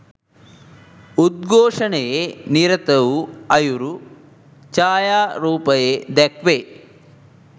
උද්ඝෝෂණයේ නිරත වූ අයුරු ඡායාරූපයේ දැක්වේ